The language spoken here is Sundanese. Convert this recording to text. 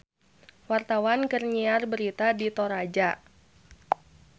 Wartawan keur nyiar berita di Toraja